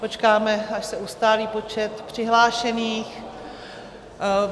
Počkáme, až se ustálí počet přihlášených.